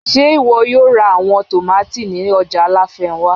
Ṣe iwọ yóò ra awọn tomati ni ọja lafenwa?